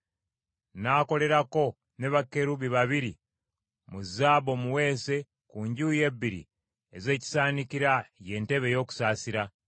N’akolerako ne bakerubi babiri mu zaabu omuweese ku njuyi ebbiri ez’ekisaanikira, ye ntebe ey’okusaasira.